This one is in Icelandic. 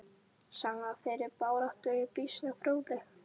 Sagan af þeirri baráttu er býsna fróðleg.